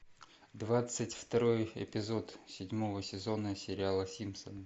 двадцать второй эпизод седьмого сезона сериала симпсоны